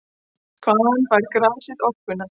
Hvaðan fær grasið orkuna?